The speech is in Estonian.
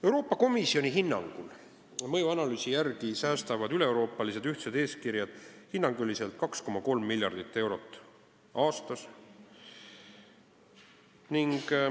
Euroopa Komisjoni mõjuanalüüsi järgi säästavad üleeuroopalised ühtsed eeskirjad hinnanguliselt 2,3 miljardit eurot aastas.